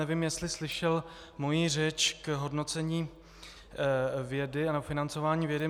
Nevím, jestli slyšel moji řeč k hodnocení vědy a k financování vědy.